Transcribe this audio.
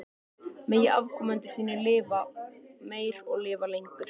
Megi afkomendur þínir lifa meir og lifa lengur.